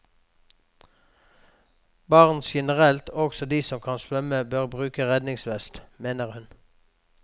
Barn generelt, også de som kan svømme, bør bruke redningsvest, mener hun.